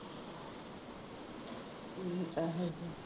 ਠੀਕ ਹੈ ਫਿਰ।